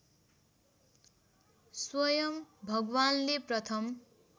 स्वयं भगवान्ले प्रथम